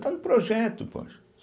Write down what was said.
Está no projeto, poxa.